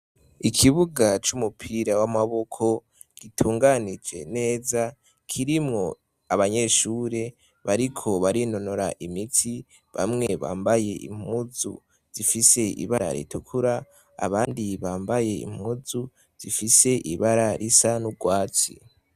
Ikibuga cumupira wamaboko gitunganije neza kirimwo abanyeshure bariko barinonora imitsi bamwe bambaye impuzu zifise ibara ritukura abandi bambaye impuzu zifise ibararisa nurwatsi